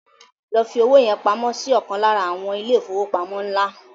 Lọ fi owó yẹn pamọ́ si ọ̀kan lára àwọn ilé ìfowópamọ́ ńlá